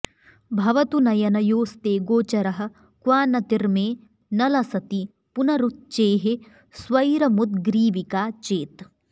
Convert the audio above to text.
भवतु नयनयोस्ते गोचरः क्वानतिर्मे न लसति पुनरुच्चेः स्वैरमुद्ग्रीविका चेत्